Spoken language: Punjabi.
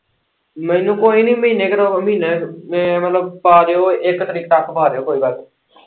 ਮੈਨੂੰ ਕੋਈ ਨੀ ਮਹੀਨੇ ਕ ਤੱਕ ਮਹੀਨਾ ਮਤਲਬ ਪਾ ਦਿਓ ਇੱਕ ਤਰੀਕ ਤੱਕ ਪਾ ਦਿਓ ਕੋਈ ਗੱਲ ਨੀ।